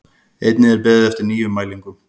Einnig er beðið eftir nýjum mælingum